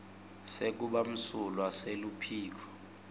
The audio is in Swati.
sekuba msulwa seluphiko